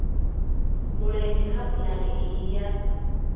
mulenzhe kha pulane iyi ya